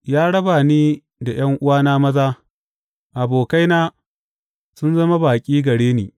Ya raba ni da ’yan’uwana maza; abokaina sun zama baƙi gare ni.